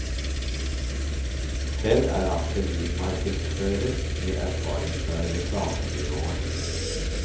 Selv er han sivilmarkedsfører med erfaring fra reklamebyråer.